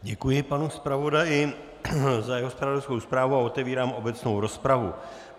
Děkuji panu zpravodaji za jeho zpravodajskou zprávu a otevírám obecnou rozpravu.